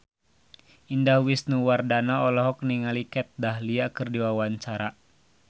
Indah Wisnuwardana olohok ningali Kat Dahlia keur diwawancara